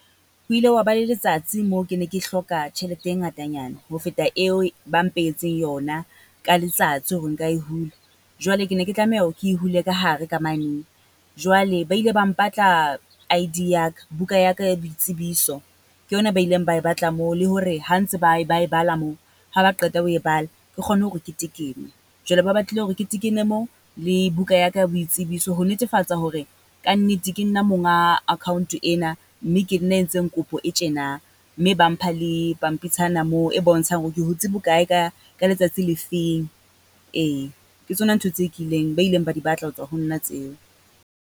Ho ile hwa ba le letsatsi moo ke ne ke hloka tjhelete e ngatanyana ho feta eo ba mpehetseng yona ka letsatsi hore nka e hula. Jwale ke ne ke tlameha ho ke e hule ka hare ka mane, jwale ba ile ba mpatla I_D ya ka, buka ya ka ya boitsebiso ke yona ba ileng ba e batla moo. Le hore ha ntse ba e ba e bala moo, ha ba qeta ho e bala. Ke kgone hore ke tekene, jwale ba batlile hore ke tekene moo le buka ya ka ya boitsebiso, ho netefatsa hore kannete ke nna monga account-o ena, mme ke nna a entseng kopo e tjena. Mme ba mpha le pampitshana moo e bontshang hore ke hutse bokae ka, ka letsatsi le feng? Ee, ke tsona ntho tse kileng, ba ileng ba di batla ho tswa ho nna tseo.